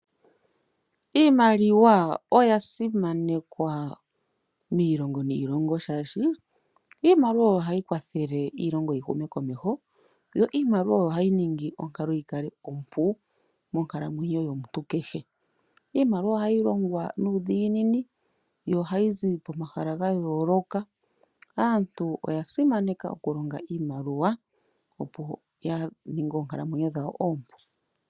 Iimaliwa oya simanekwa miilongo niilongo oshoka iimaliwa oyo hayi kwathele iilongo yi hume komeho yo iimaliwa oyo hayi ningi onkalo yikale ompu monkalamwenyo yomuntu kehe. Iimaliwa ohayi longwa nuudhiginini yo ohayi zi pomahala ga yooloka . Aantu oya simaneka okulonga iimaliwa. Opo ya ninge oonkalamwenyo dhawo oompu.